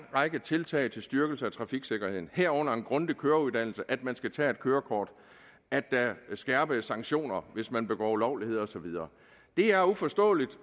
række tiltag til styrkelse af trafiksikkerheden herunder en grundig køreuddannelse at man skal tage et kørekort at der er skærpede sanktioner hvis man begår ulovligheder og så videre det er uforståeligt